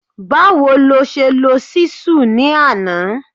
Báwo ló ṣe lo Ṣísù ni àná?